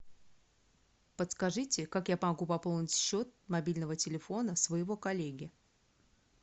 подскажите как я могу пополнить счет мобильного телефона своего коллеги